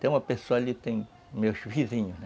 Tem uma pessoa ali, tem meus vizinhos, né?